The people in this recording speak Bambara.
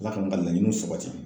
Ala ka n ka laɲiniw sabati